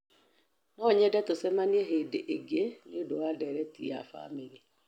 No nyende tũcemanie hĩndĩ ĩngĩ nĩ ũndũ wa ndeereti ya famĩlĩ.